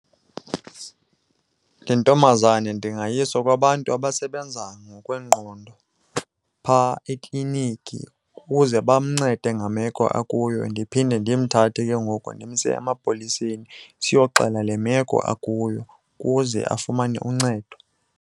Le ntombazana ndingayisa kwabantu abasebenza ngokwengqondo phaa ekliniki ukuze bamncede ngemeko akuyo. Ndiphinde ndimthathe ke ngoku ndimse emapoliseni siyoxela le meko akuyo ukuze afumane uncedo.